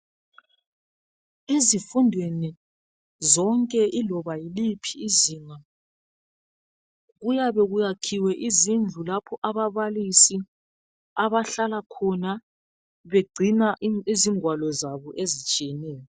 Ezifundweni zonke iloba yiliphi izinga kuyabe kuyakhiwe izindlu lapho ababalisi abahlala khona begcina izingwalo zabo ezitshiyeneyo.